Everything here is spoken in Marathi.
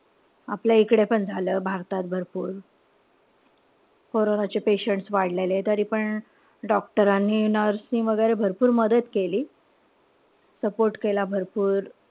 आपल्या इकडे पण झालं भारतात भरपूर. कोरोनाचे patients वाढलेले. तरीपण doctor नि, nurse नि वगैरे भरपूर मदत केली. support केला भरपूर.